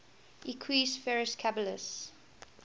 equus ferus caballus